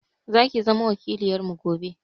Zaki zama wakiloyarmu gobe.